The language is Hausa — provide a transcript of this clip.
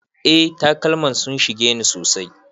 Eh takalman sun shige ni sosai.